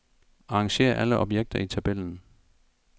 Arrangér alle objekter i tabellen.